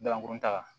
Balankurunin ta